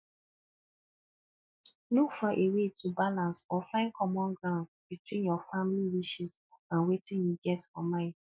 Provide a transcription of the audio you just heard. look for a wey to balance or find common ground between your family wishes and wetin you get for mind